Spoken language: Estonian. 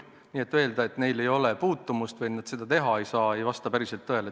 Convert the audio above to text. Nii et öelda, et neil ei ole selle tegevusega puutumust või nad seda teha ei saa, päris ei saa.